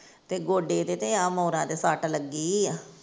ਤੇ ਗੋਡੇ ਤੇ ਤੇ ਆਹ ਮੋਰਾਂ ਤੇ ਸੱਟ ਲੱਗੀ ਆ।